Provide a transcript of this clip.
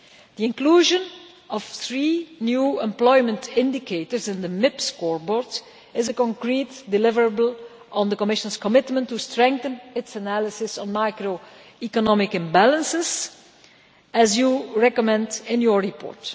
The inclusion of three new employment indicators in the Macroeconomic Imbalances Procedure scoreboard is a concrete deliverable on the Commission's commitment to strengthen its analysis of macroeconomic imbalances, as you recommend in your report.